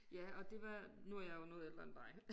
Ja og det var nu jeg jo noget ældre end dig